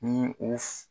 Ni o f